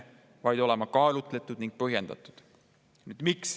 Põhiseaduse muutmine peab olema kaalutletud ning põhjendatud.